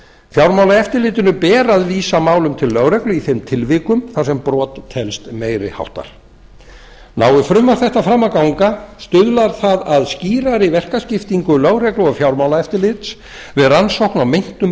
fjármálaeftirlitinu ber að vísa málum til lögreglu í þeim tilvikum þar sem brot telst meiri háttar nái frumvarp þetta fram að ganga stuðlar það að skýrari verkaskiptingu lögreglu og f jármálaeftilits við rannsókn á meintum